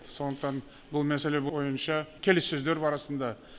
сондықтан бұл мәселе бойынша келіссөздер бар арасында